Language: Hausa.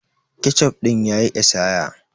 Ketchup din ya yi esaya.